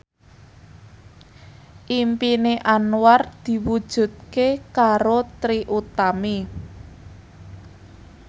impine Anwar diwujudke karo Trie Utami